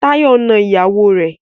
Táyọ̀ na ìyàwó rẹ̀.